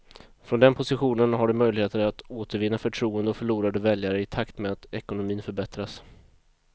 Från den positionen har de möjligheter att återvinna förtroende och förlorade väljare i takt med att ekonomin förbättras.